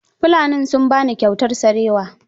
Fulanin sun ba ni kyautar sarewa.